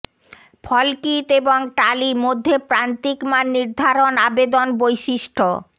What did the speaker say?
ফলকিত এবং টালি মধ্যে প্রান্তিক মান নির্ধারণ আবেদন বৈশিষ্ট্য